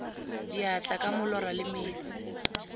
diatla ka molora le metsi